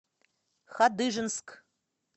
хадыженск